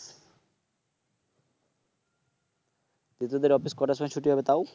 তো তোদের অফিস কটার সময় ছুটি হবে তাও